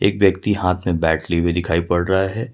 एक व्यक्ति हाथ में बैट लिए हुए दिखाई पड़ रहा है।